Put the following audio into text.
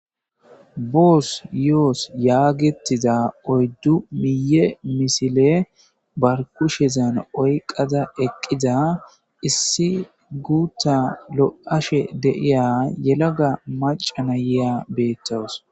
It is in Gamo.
Boss yoss yagetiaza oydu miye misile ba kushezan oyqada eqida issi gutha lo'ashe de'iya yelaga macs nayiya btawus